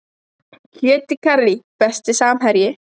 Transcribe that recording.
Kjöt í karrí Besti samherji?